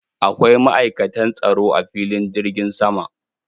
Akwai ma'aikatan tsaro a filin jirgin sama.